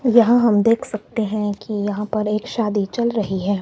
यहां हम देख सकते हैं कि यहां पर एक शादी चल रही है।